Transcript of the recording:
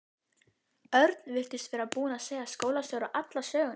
Örn virtist vera búinn að segja skólastjóra alla söguna.